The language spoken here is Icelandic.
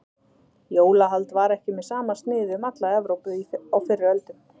Jólahald var ekki með sama sniði um alla Evrópu á fyrri öldum.